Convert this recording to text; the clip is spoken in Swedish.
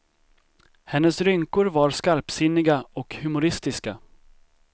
Hennes rynkor var skarpsinniga och humoristiska.